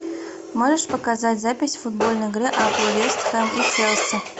можешь показать запись футбольной игры апл вест хэм и челси